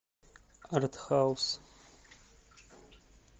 артхаус